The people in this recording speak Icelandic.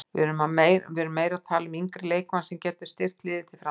Við erum meira að tala um yngri leikmann sem getur styrkt liðið til framtíðar.